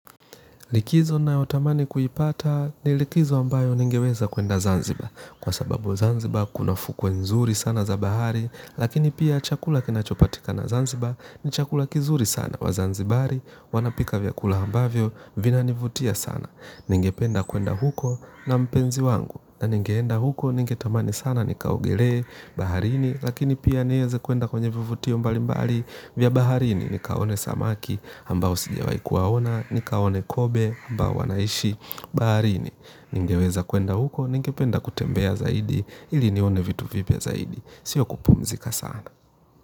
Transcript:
Likizo nayo tamani kuipata ni likizo ambayo ningeweza kuenda Zanzibar kwa sababu Zanzibar kuna fukwe nzuri sana za bahari lakini pia chakula kinachopatikana Zanzibar ni chakula kizuri sana waZanzibari wanapika vyakula ambavyo vina nivutia sana. Ningependa kuenda huko na mpenzi wangu na ningeenda huko ningetamani sana nikaogelee baharini lakini pia nieze kuenda kwenye vivutio mbalimbali vya baharini nikaone samaki ambao sijawai kuwaona nikaone kobe ambao wanaishi baharini ningeweza kuenda huko ningependa kutembea zaidi ili nione vitu vipya zaidi sio kupumzika sana.